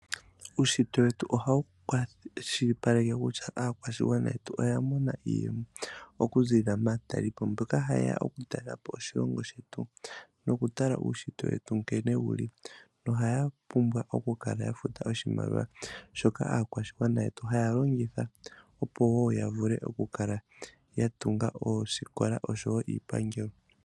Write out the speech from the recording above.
Uushitwe wetu ohawu kwashilipaleke kutya aakwashigwana yetu oya mona iiyemo oku ziilila maatalelipo mboka hayeya oku talelapo oshilongo shetu noku tala uushitwe wetu nkene wuli. Nohaya pumbwa oku kala ya futa oshimaliwa shoka aakwashigwana yetu haya longitha opo wo ya vule oku kala ya tunga oosikola oshowo iipangelo.